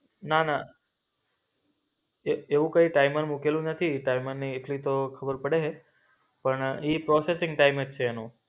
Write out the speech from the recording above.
ના ના એ એવું કઈ ટાઈમર મૂકેલું નથી, ટાઈમરની એટલી તો ખબર પડે. પણ ઈ પ્રોસેસીંગ ટાઈમજ છે.